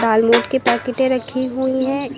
दालमोट की पैकिटे रखी हुई है।